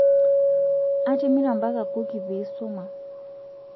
atimira mpaka kuki piisuma